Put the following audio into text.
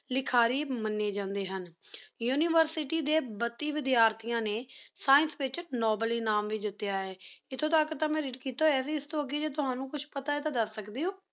ਲਿਖਾਰੀ ਮਨੀ ਜਾਨ੍ਦੁਯ ਹੁਣ University ਡੀ ਬਾਤੀ ਵ੍ਦ੍ਯਾਰ ਤੇਯਾਂ ਨੀ ਸ੍ਕੋਕੇ ਵੇਚ Science ਵਿਚ Noble ਇਨਾਮ ਵੇ ਜਿਤ੍ਯਾ ਹੈ ਇਥੀ ਤਕ ਟੀ ਮੈਂ Read ਕੀਤਾ ਹੂਯ ਆਯ ਇਸ ਤੂੰ ਅਘੀ ਤੁਆਨੁ ਕੁਛ ਪਤਾ ਆਯ ਟੀ ਤੁਸੀਂ ਦਸ ਸਕਦੀ ਊ